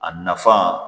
A nafa